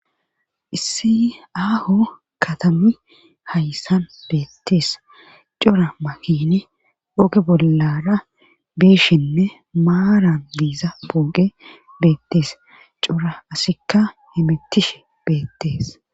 issi aaho katami hayssan beettees cora makini ooge bollara beshinne maaran diiza pooqe beettees cora asikka himittishe beettees